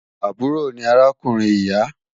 Àbúrò ni arákùnrin ìyà